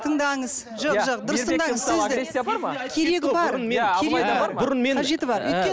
тыңдаңыз жоқ жоқ дұрыс тыңдаңыз сөзді